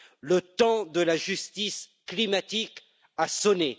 Le temps de la justice climatique a sonné.